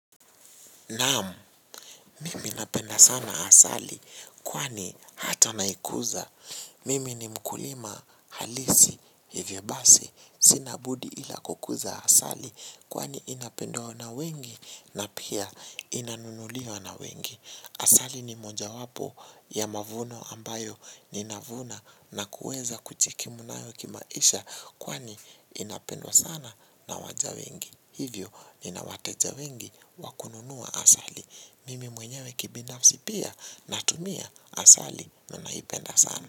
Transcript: Naam, mimi napenda sana asali kwani hata naikuza. Mimi ni mkulima halisi hivyo basi. Sina budi ila kukuza asali kwani inapendwa na wengi na pia inanunuliwa na wengi. Asali ni moja wapo ya mavuno ambayo ni navuna na kuweza kujikimu nayo kimaisha kwani inapendwa sana na waja wengi. Hivyo ninawateja wengi wakununua asali. Mimi mwenyewe kibinafsi pia na tumia asali na naipenda sana.